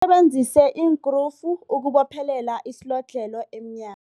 Usebenzise iinkrufu ukubophelela isilodlhelo emnyango.